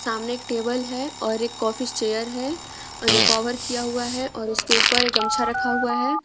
सामने एक टेबल है और एक ऑफिस चेयर है और जो कभर किया हुआ है और उसके ऊपर एक गमछा रखा हुआ है।